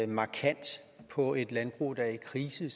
markant på et landbrug der er i krise